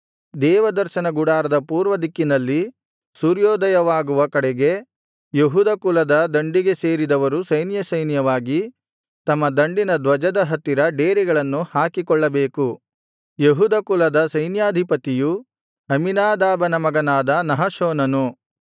ದೇವದರ್ಶನ ಗುಡಾರದ ಪೂರ್ವದಿಕ್ಕಿನಲ್ಲಿ ಸೂರ್ಯೋದಯವಾಗುವ ಕಡೆಗೆ ಯೆಹೂದ ಕುಲದ ದಂಡಿಗೆ ಸೇರಿದವರು ಸೈನ್ಯಸೈನ್ಯವಾಗಿ ತಮ್ಮ ದಂಡಿನ ಧ್ವಜದ ಹತ್ತಿರ ಡೇರೆಗಳನ್ನು ಹಾಕಿಕೊಳ್ಳಬೇಕು ಯೆಹೂದ ಕುಲದ ಸೈನ್ಯಾಧಿಪತಿಯು ಅಮ್ಮೀನಾದಾಬನ ಮಗನಾದ ನಹಶೋನನು